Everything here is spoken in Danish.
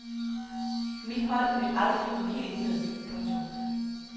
Mit hold vil aldrig gå helt ned. punktum